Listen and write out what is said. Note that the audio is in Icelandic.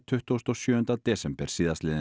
tuttugasta og sjöunda desember